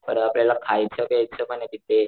परत आपल्याला खायचं पेयच पणे तिथे,